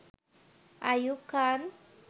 Ayub Khan